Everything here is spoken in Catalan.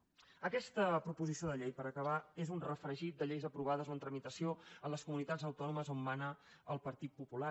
aqueta proposició de llei per acabar és un refregit de lleis aprovades o en tramitació en les comunitats autònomes on mana el partit popular